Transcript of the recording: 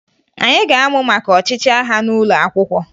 Anyị ga-amụ maka ọchịchị agha n'ụlọ akwụkwọ